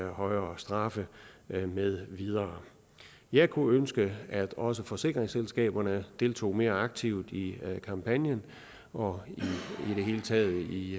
højere straf med videre jeg kunne ønske at også forsikringsselskaberne deltog mere aktivt i kampagnen og i det hele taget i